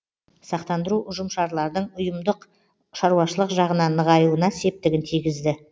сақтандыру ұжымшарлардың ұйымдық шаруашылық жағынан нығаюына септігін тигізді